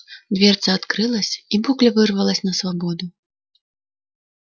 дверца открылась и букля вырвалась на свободу